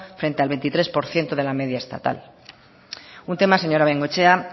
frente al veintitrés por ciento de la media estatal un tema señora bengoechea